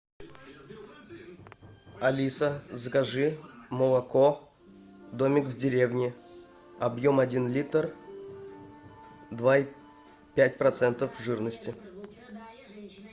алиса закажи молоко домик в деревне объем один литр два и пять процентов жирности